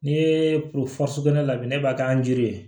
N'i ye sugunɛ labɛn ne b'a kɛ an jiri